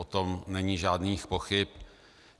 O tom není žádných pochyb.